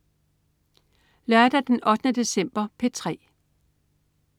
Lørdag den 8. december - P3: